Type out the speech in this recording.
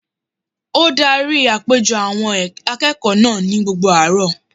Ó darí àpéjọ àwọn akẹ́kọ̀ọ́ náà ní gbogbo àárọ̀